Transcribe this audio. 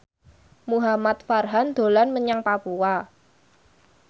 Muhamad Farhan dolan menyang Papua